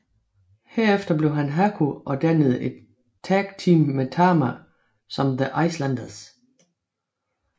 Herefter blev han Haku og dannede et tag team med Tama som The Islanders